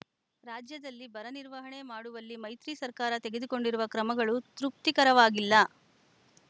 ರಾಜ್ಯದಲ್ಲಿ ಬರ ನಿರ್ವಹಣೆ ಮಾಡುವಲ್ಲಿ ಮೈತ್ರಿ ಸರ್ಕಾರ ತೆಗೆದುಕೊಂಡಿರುವ ಕ್ರಮಗಳು ತೃಪ್ತಿಕರವಾಗಿಲ್ಲ